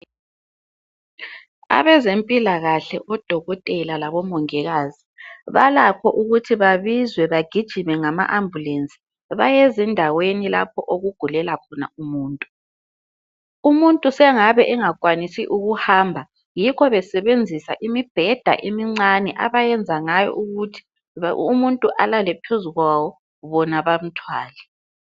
Abezempilakahle odokotela labomongikazi balakho ukuthi babizwe bagijime ngama ambulance baye ezindaweni lapho okugulela khona umuntu umuntu sengabe engakwanisi ukuhamba yikho besebenzisa imibheda emincane asebenza ngayo ukuthi umuntu alale phezu kwawo bona bamthwale